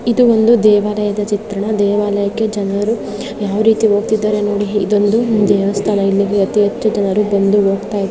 ಇದು ಒಂದು ದೇವರಯದ ಚಿತ್ರಣ. ದೇವಾಲಯಕೆ ಜನರು ಯಾವ್ ರೀತಿ ಹೋಗತ್ತಿದ್ದಾರೆ ನೋಡಿ. ಈದ್ ಒಂದು ದೇವಸ್ಥಾನ. ಇಲ್ಲಿಗೆ ಅತೀ ಹೆಚ್ಚು ಜನರು ಬಂದು ಹೋಗ್ತಾ--